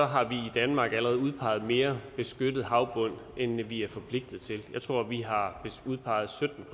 har vi i danmark allerede udpeget mere beskyttet havbund end vi er forpligtet til jeg tror vi har udpeget sytten